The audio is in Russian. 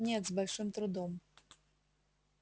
нет с большим трудом